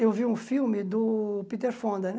Eu vi um filme do Peter Fonda, né?